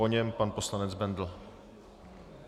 Po něm pan poslanec Bendl.